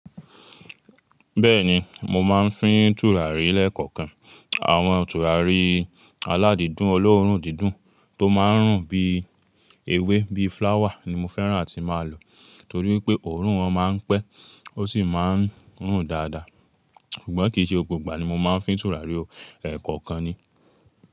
Bẹ́ẹ̀ni, mo máa ń fín tùràrí lẹ́ẹ̀kọ̀kan. Àwọn tùràrí aládídùn ọlọ́ọ̀rùn dídùn tó máa ń rùn bíi ewé bíi flower ni mo fẹ́ràn àti máa lò torí pé òórùn wọn máa ń pẹ́ ó sì máa ń rùn dáadáa. Ṣùgbọ́n kì í ṣe gbogbo ìgbà ni mo máa ń fín tùràrí o, ẹ̀ẹ̀kọ̀kan ni.